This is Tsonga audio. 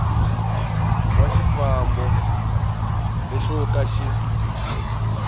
wa xifambo lexo ka xi